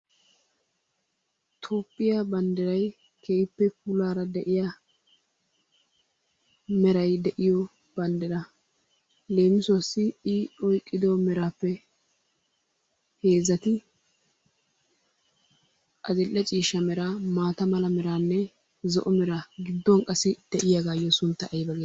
Toophiya banddirayi keehippe puulaara de'iya merayi de'iyo banddiraa. Leemisuwassi I oyqqido meraappe heezzati adill'e ciishsha mera maata metaanne zo'o meraa gidduwan qassi de'iyagaayyo sunttayi aybaa geetettii?